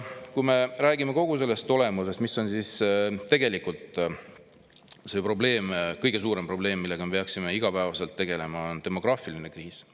Kui me räägime kogu selle asja olemusest ja küsime, mis on siis tegelikult kõige suurem probleem, millega me peaksime igapäevaselt tegelema, siis tuleb öelda, et see on demograafiline kriis.